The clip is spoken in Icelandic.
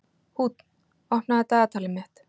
Húnn, opnaðu dagatalið mitt.